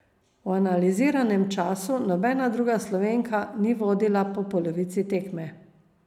V analiziranem času nobena druga Slovenka ni vodila po polovici tekme.